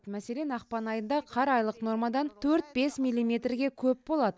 мәселен ақпан айында қар айлық нормадан төрт бес милиметрге көп болады